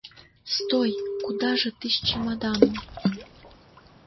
стой куда же ты с чемоданом